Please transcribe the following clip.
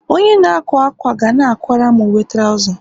Onye na-akwa akwa ga na-akwara m uwe trouza